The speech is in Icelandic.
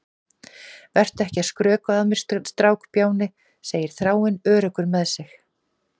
Vertu ekki að skrökva að mér, strákbjáni, segir Þráinn, öruggur með sig.